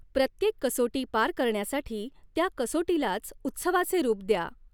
प्रत्येक कसोटी पार करण्यासाठी त्या कसोटीलाच उत्सवाचे रूप द्या.